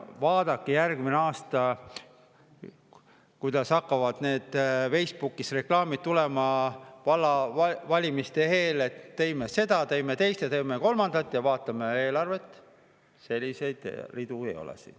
Vaadake järgmine aasta, kuidas hakkavad need Facebooki reklaamid tulema vallavalimiste eel, et teeme seda, teeme teist ja teeme kolmandat, aga vaatame eelarvet: selliseid ridu siin ei ole.